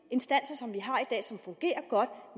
instanser som vi har i som fungerer godt